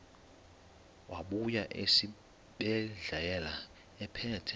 wabuya esibedlela ephethe